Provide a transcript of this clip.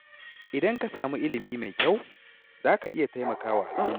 Idan ka samu ilimi mai kyau, za ka iya taimaka wa al’umma.